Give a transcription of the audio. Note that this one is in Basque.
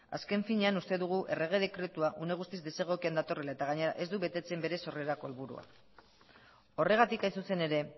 azken finean uste dugu errege dekretua une guztiz desegokian datorrela eta gainera ez du betetzen bere sorrerarako helburua horregatik hain zuzen ere